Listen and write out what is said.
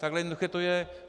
Tak jednoduché to je.